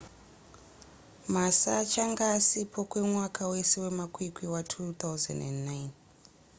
massa achange asipo kwemwaka wese wemakwikwi wa2009